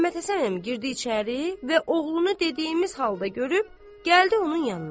Məmmədhəsən əmi girdi içəri və oğlunu dediyimiz halda görüb gəldi onun yanına.